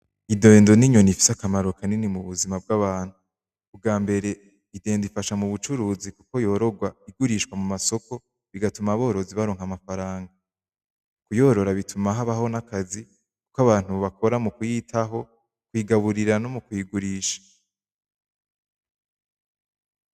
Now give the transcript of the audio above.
Idendo ni inyoni ifise akamaro kanini mu buzima bw'abantu, ubwambere idendo ifasha mubucuruzi kuko yororwa igurishwa mu masoko igatuma aborozi baronka amafaranga, kuyorora bituma habaho n'akazi k'abantu bakora mukuyitaho, kuyigaburira no mu kiyigurisha.